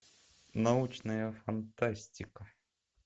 научная фантастика